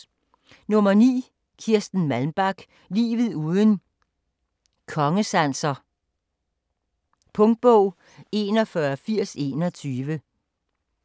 9. Malmbak, Kirsten: Livet uden kongesanser Punktbog 418021